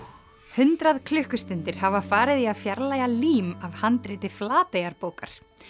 hundrað klukkustundir hafa farið í að fjarlægja lím af handriti Flateyjarbókar